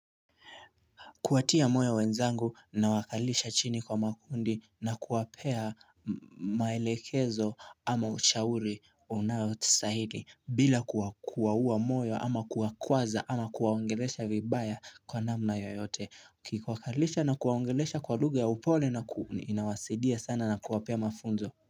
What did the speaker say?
Kuwatia moyo wenzangu nawakalisha chini kwa makundi na kuwapea maelekezo ama ushauri unayotisahili bila kuwa kuwaua moyo ama kuwa kwaza ama kuwaongelesha vibaya kwa namna yoyote ki kuwakalisha na kuwaongelesha kwa lugha ya upole na kuuni inawasidia sana na kuwapea mafunzo.